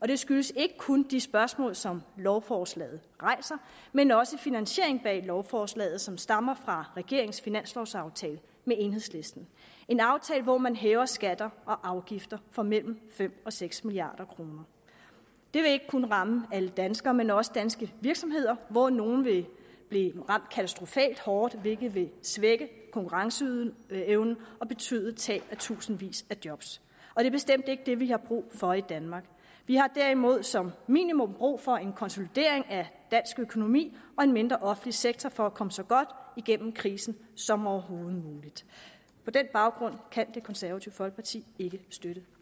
det skyldes ikke kun de spørgsmål som lovforslaget rejser men også finansieringen bag lovforslaget som stammer fra regeringens finanslovaftale med enhedslisten det en aftale hvori man hæver skatter og afgifter for mellem fem og seks milliard kroner det vil ikke kun ramme alle danskere men også danske virksomheder hvoraf nogle vil blive ramt katastrofalt hårdt hvilket vil svække konkurrenceevnen og betyde tab af tusindvis af job det er bestemt ikke det vi har brug for i danmark vi har derimod som minimum brug for en konsolidering af dansk økonomi og en mindre offentlig sektor for at komme så godt igennem krisen som overhovedet muligt på den baggrund kan det konservative folkeparti ikke støtte